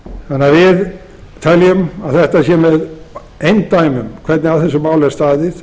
borði við teljum að það sé með eindæmum hvernig að þessu máli er staðið og það